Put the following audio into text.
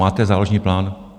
Máte záložní plán?